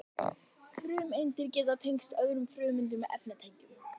frumeindir geta tengst öðrum frumeindum með efnatengjum